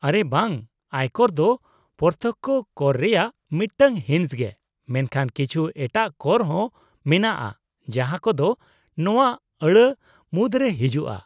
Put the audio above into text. -ᱟᱨᱮ ᱵᱟᱝ, ᱟᱭᱠᱚᱨ ᱫᱚ ᱯᱨᱚᱛᱛᱚᱠᱠᱷᱚ ᱠᱚᱨ ᱨᱮᱭᱟᱜ ᱢᱤᱫᱴᱟᱝ ᱦᱤᱸᱥ ᱜᱮ, ᱢᱮᱱᱠᱷᱟᱱ ᱠᱤᱪᱷᱩ ᱮᱴᱟᱜ ᱠᱚᱨ ᱦᱚᱸ ᱢᱮᱱᱟᱜᱼᱟ ᱡᱟᱦᱟᱸ ᱠᱚᱫᱚ ᱱᱚᱶᱟ ᱟᱹᱲᱟᱹ ᱢᱩᱫᱨᱮ ᱦᱤᱡᱩᱜᱼᱟ ᱾